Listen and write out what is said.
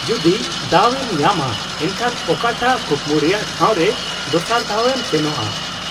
-ᱡᱩᱫᱤ ᱫᱟᱣ ᱮᱢ ᱧᱟᱢᱟ ᱮᱱᱠᱷᱟᱱ ᱚᱠᱟᱴᱟᱜ ᱠᱩᱠᱢᱩ ᱨᱮᱭᱟᱜ ᱴᱷᱟᱣ ᱨᱮ ᱫᱚᱥᱟᱨ ᱫᱷᱟᱣ ᱮᱢ ᱥᱮᱱᱚᱜᱼᱟ ?